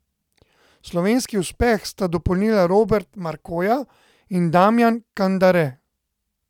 Slovenski uspeh sta dopolnila Robert Markoja in Damjan Kandare.